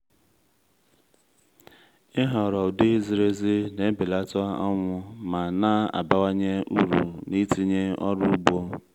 ịhọrọ ụdị ziri ezi na-ebelata ọnwụ ma na-abawanye uru n’itinye ọrụ ugbo.